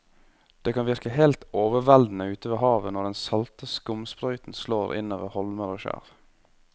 Det kan virke helt overveldende ute ved havet når den salte skumsprøyten slår innover holmer og skjær.